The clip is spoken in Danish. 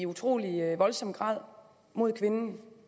utrolig voldsom grad mod kvinden